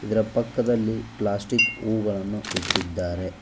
ಇದರ ಪಕ್ಕದಲ್ಲಿ ಪ್ಲಾಸ್ಟಿಕ್ ಹೂಗಳನ್ನು ಇಟ್ಟಿದ್ದಾರೆ.